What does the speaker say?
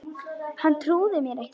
Hann trúði mér ekki